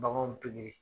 Baganw pigi